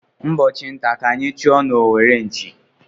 Ụbọchị ntá ka anyị chụọ n'owere nchì.